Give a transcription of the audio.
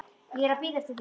Ég er að bíða eftir þér.